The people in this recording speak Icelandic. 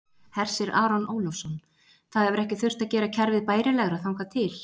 Hersir Aron Ólafsson: Það hefur ekki þurft að gera kerfið bærilegra þangað til?